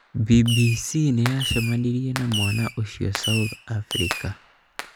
BBC nĩyacemanirie na mwana ũcio South Africa